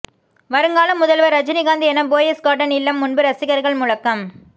வருங்கால முதல்வர் ரஜினிகாந்த் என போயஸ் கார்டன் இல்லம் முன்பு ரசிகர்கள் முழக்கம்